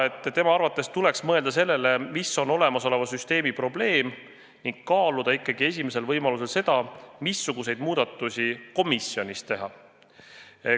Tema arvates tuleks mõelda sellele, mis on olemasoleva süsteemi probleem, ning kaaluda ikkagi esimesel võimalusel seda, missuguseid muudatusi võiks komisjonis teha.